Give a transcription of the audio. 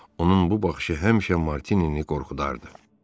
Onun bu baxışı həmişə Martinini qorxudardı.